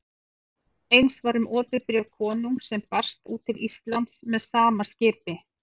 Eins var um opið bréf konungs sem barst út til Íslands með sama skipi.